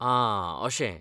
आ, अशें.